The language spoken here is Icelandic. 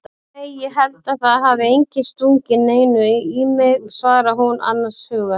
Nei ég held að það hafi enginn stungið neinu í mig, svarar hún annars hugar.